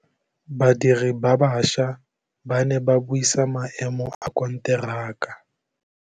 Badiri ba baša ba ne ba buisa maêmô a konteraka.